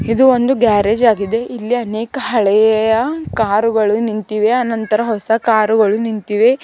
ಇದು ಒಂಡು ಗ್ಯಾರೇಜ್ ಆಗಿದೆ ಇಲ್ಲಿ ಅನೇಕ ಹಳೆಯ ಕಾರುಗಳು ನಿಂತಿವೆ ಅನಂತರ ಹೊಸ ಕಾರುಗಳು ನಿಂತಿವೆ.